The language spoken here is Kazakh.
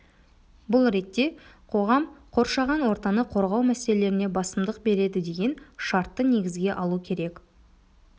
бұл ретте қоғам қоршаған ортаны қорғау мәселелеріне басымдық береді деген шартты негізге алу керек